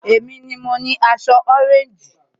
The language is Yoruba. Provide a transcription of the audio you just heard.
Èmi ni mo ni aṣọ ọréńjì